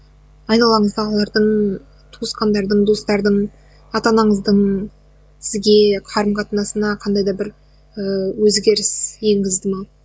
айналаңыздағылардың туысқандардың достардың ата анаңыздың сізге қарым қатынасына қандай да бір ііі өзгеріс енгізді ме